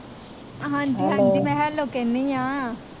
ਹਾਂਜੀ ਹਾਂਜੀ ਮੈ ਹੈਲੋ ਕਹਿਣੀ ਆ।